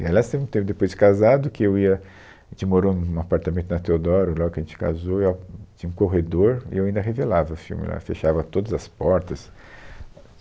E Aliás, teve um tempo depois de casado que eu ia... a gente morou em um apartamento na Teodoro, logo que a gente casou, e eu, tinha um corredor e eu ainda revelava filme lá, fechava todas as portas.